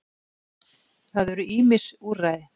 Það eru ýmis úrræði.